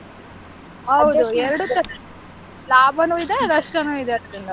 ಹೌದು ಎರಡು ತರ ಲಾಭಾನೂ ಇದೆ ನಷ್ಟನೂ ಇದೆ ಅದ್ರಿಂದ.